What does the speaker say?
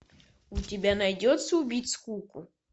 у тебя найдется убить скуку